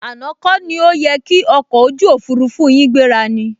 Àná kọ ni ó yẹ ki ọkọ̀ ojú òfurufú yin gbéra ni?